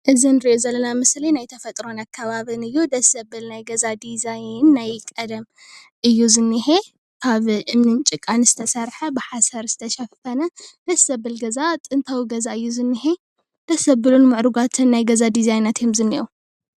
እዚ ንሪኦ ዘለና ምስሊ ናይ ተፈጥሮን ኣከባብን እዩ። ደስ ዘብል ናይ ገዛ ዲዛይን ናይ ቀደም እዩ ዝኒሄ። ካብ እምኒን ጭቃን ዝተሰርሐ ብሓሰር ዝተሸፈነ ደስ ዘብል ገዛ ጥንታዊ ገዛ እዩ ዝኒሄ። ደስ ዘብሉን ናይ ገዛ ምዕሩጋትን ናይ ገዛ ዲዛይናት እዮም ዝኒኤዉ ።